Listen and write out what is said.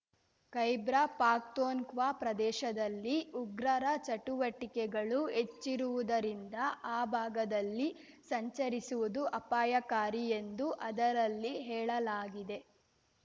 ಖೈಬ್ರಾ ಪಾಖ್ತೊಂವಾ ಪ್ರದೇಶದಲ್ಲಿ ಉಗ್ರರ ಚಟುವಟಿಕೆಗಳು ಹೆಚ್ಚಿರುವುದರಿಂದ ಆ ಭಾಗದಲ್ಲಿ ಸಂಚರಿಸುವುದು ಅಪಾಯಕಾರಿ ಎಂದು ಅದರಲ್ಲಿ ಹೇಳಲಾಗಿದೆ